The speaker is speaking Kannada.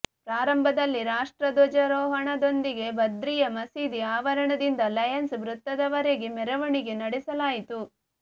ಪ್ರಾರಂಭದಲ್ಲಿ ರಾಷ್ಟ್ರಧ್ವಜಾರೋಹಣದೊಂದಿಗೆ ಬದ್ರಿಯಾ ಮಸೀದಿ ಆವರಣದಿಂದ ಲಯನ್ಸ್ ವೃತ್ತದವರೆಗೆ ಮೆರವಣಿಗೆ ನಡೆಸಲಾಯಿತು